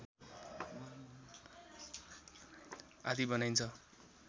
आदि बनाइन्छ